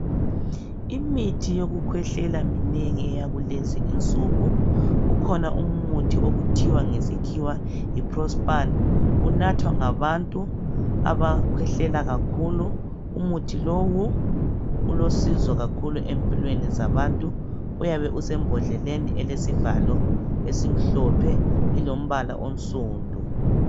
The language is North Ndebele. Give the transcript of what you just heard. Imithi yokukhwehlela minengi eyakulezi insuku. Ukhona umuthi okuthiwa ngesikhiwa yi Prospan, unathwa ngabantu abakhwehlela kakhulu. Umuthi lowu ulosizo kakhulu empilweni zabantu. Uyabe usembodleleni elesivalo esimhlophe ilombala onsundu.